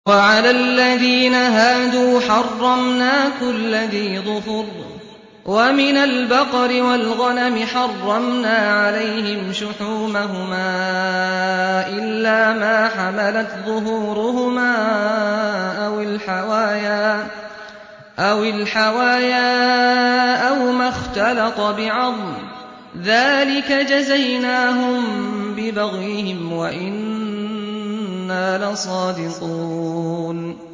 وَعَلَى الَّذِينَ هَادُوا حَرَّمْنَا كُلَّ ذِي ظُفُرٍ ۖ وَمِنَ الْبَقَرِ وَالْغَنَمِ حَرَّمْنَا عَلَيْهِمْ شُحُومَهُمَا إِلَّا مَا حَمَلَتْ ظُهُورُهُمَا أَوِ الْحَوَايَا أَوْ مَا اخْتَلَطَ بِعَظْمٍ ۚ ذَٰلِكَ جَزَيْنَاهُم بِبَغْيِهِمْ ۖ وَإِنَّا لَصَادِقُونَ